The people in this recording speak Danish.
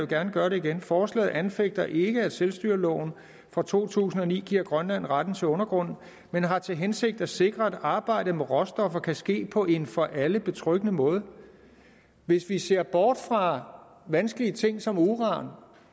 gerne gøre det igen forslaget anfægter ikke at selvstyreloven fra to tusind og ni giver grønland retten til undergrunden men har til hensigt at sikre at arbejdet med råstoffer kan ske på en for alle betryggende måde hvis vi ser bort fra vanskelige ting som uran